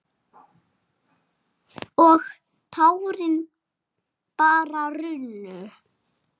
Og tárin bara runnu.